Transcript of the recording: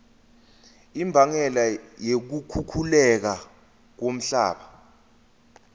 imbangela yokukhukhuleka komhlaba